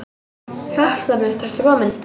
Hjartað mitt, ertu kominn?